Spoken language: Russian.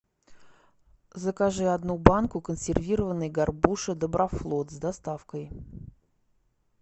закажи одну банку консервированной горбуши доброфлот с доставкой